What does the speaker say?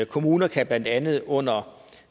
kommunerne kan blandt andet under